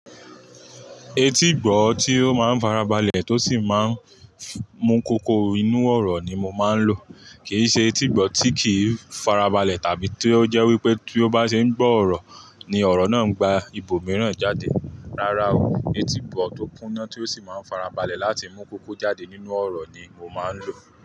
Etígbọ̀ tí ó máa ń farabalẹ̀ tó sì máa ń mú kókó inú ọ̀rọ̀ ni mo máa ń lò. Kì í ṣe etígbọ̀ tí kì í farabalẹ̀ tàbí tí ó jẹ́ wípé tí ó bá ṣe ń gbọ́ ọ̀rọ̀ ni ọ̀rọ̀ náà ń gba ibòmíràn jáde. Rárá o, etígbọ̀ tó kúnná tí ó sì máa ń farabalẹ̀ láti mú kókó jáde nínú ọ̀rọ̀ ni mo máa ń lò.